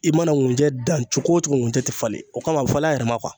I mana ŋunjɛ dan cogo o cogo ŋunjɛ te falen, o kama a be falen a yɛrɛ ma .